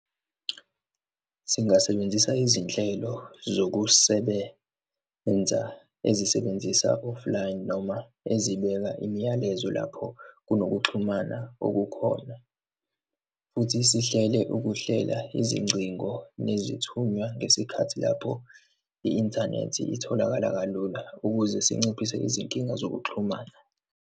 Singasebenzisa izinhlelo zokusebenza ezisebenzisa offline noma ezibeka imiyalezo lapho kunokuxhumana okukhona, futhi sihlele ukuhlela izingcingo nezithunya ngesikhathi lapho i-inthanethi itholakala kalula, ukuze sinciphise izinkinga zokuxhumana.